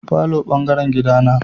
Falo bangaren gida na.